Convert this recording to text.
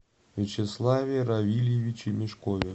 вячеславе равильевиче мешкове